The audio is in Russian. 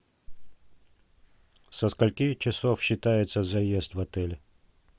со скольки часов считается заезд в отеле